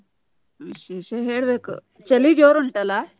ವಿಶೇಷ ಹೇಳ್ಬೇಕು. ಚಳಿ ಜೋರು ಉಂಟಲ್ಲ?